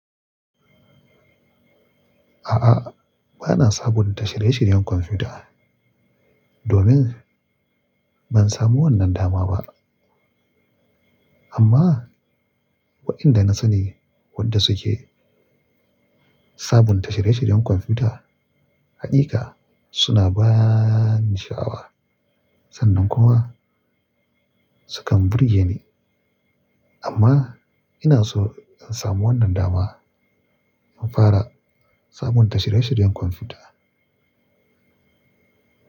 A'a, ba na sabunta shirye-shiryen kwamfuta domin ban samu wannan dama ba. Amma waɗanda na sani wadda suke sabunta shirye-shiryen kwamfuta, haƙiƙa suna baaa ni sha'awa. Sannan kuwa sukan burge ni. Amma ina so in samu wannan dama in fara sabunta shirye-shiryen kwamfuta.